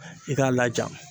I k'a laja.